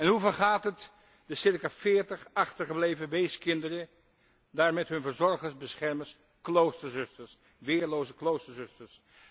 Hoe vergaat het de circa veertig achtergebleven weeskinderen daar met hun verzorgers beschermers, kloosterzusters, weerloze kloosterzusters?